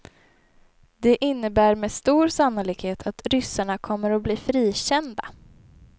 Det innebär med stor sannolikhet att ryssarna kommer att bli frikända.